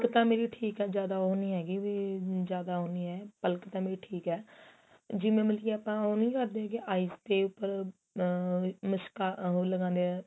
ਤਾਂ ਮੇਰੀ ਠੀਕ ਏ ਜਿਆਦਾ ਉਹ ਨਹੀਂ ਹੈਗੀ ਵੀ ਜਿਆਦਾ ਉਹ ਨਹੀਂ ਏ ਪਲਕ ਤਾਂ ਮੇਰੀ ਠੀਕ ਏ ਜਿਵੇਂ ਮਤਲਬ ਕੀ ਆਪਾਂ ਉਹ ਨਹੀਂ ਕਰਦੇ ਕੀ eyes ਦੇ ਉਪਰ ਆ ਮਸ਼ਕਾ ਉਹ ਲਗਾਂਦੇ ਆ